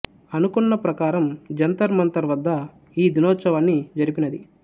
అనుకొన్న ప్రకారం జంతర్ మంతర్ వద్ద ఈ దినోత్సవాన్ని జరిపినది